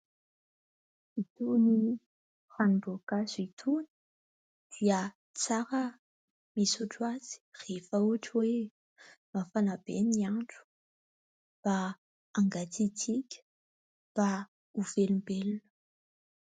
Itony ranomboankazo itony dia tsara misotro azy rehefa ohatra hoe mafana be ny andro mba hangatsiatsika, mba ho velombelona.